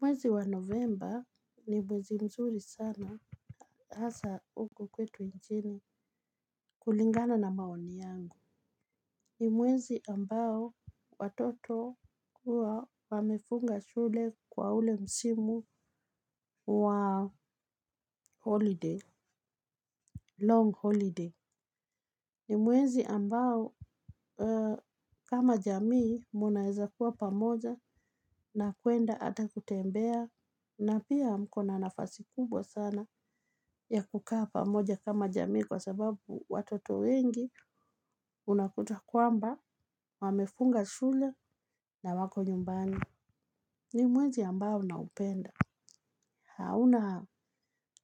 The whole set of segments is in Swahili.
Mwezi wa Novemba ni mwezi mzuri sana hasaa huku kwetu nchini kulingana na maoni yangu. Ni mwezi ambao watoto huwa wamefunga shule kwa ule msimu wa holiday, long holiday. Ni mwezi ambao kama jamii munaweza kuwa pamoja na kuenda hata kutembea na pia mko na nafasi kubwa sana ya kukaa pamoja kama jamii kwa sababu watoto wengi unakuta kwamba wamefunga shule na wako nyumbani. Ni mwezi ambao naupenda. Hauna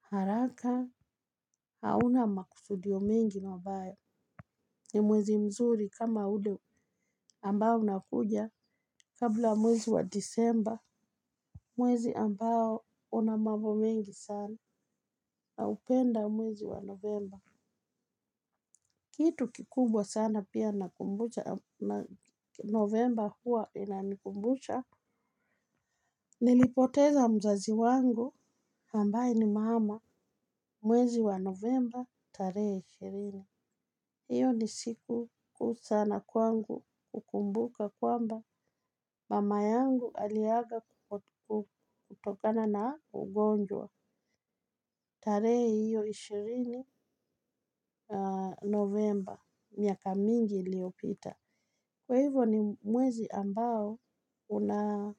haraka, hauna makusudio mengi mabaya. Ni mwezi mzuri kama ule ambao unakuja kabla mwezi wa Disemba. Mwezi ambao una mambo mingi sana naupenda mwezi wa Novemba. Kitu kikubwa sana pia nakumbuka na Novemba huwa inanikumbusha. Nilipoteza mzazi wangu ambaye ni mama, mwezi wa Novemba tarehee ishirini. Hiyo ni siku kuu sana kwangu hukumbuka kwamba mama yangu aliaga kutokana na ugonjwa. Tarehe hiyo ishirini Novemba miaka mingi iliopita. Kwa hivyo ni mwezi ambao una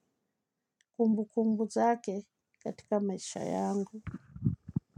kumbukumbu zake katika maisha yangu.